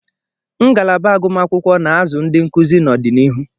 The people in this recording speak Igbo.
Ngalaba agụmakwụkwọ na-azụ ndị nkuzi n'ọdịnihu.